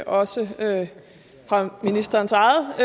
også fra ministerens eget